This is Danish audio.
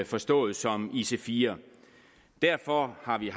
forstået som ic4 derfor har vi